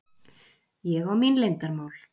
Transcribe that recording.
Ég á mín leyndarmál.